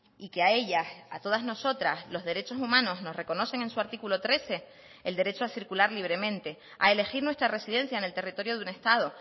y que a ellas a todas nosotras los derechos humanos nos reconocen en su artículo trece el derecho a circular libremente a elegir nuestra residencia en el territorio de un estado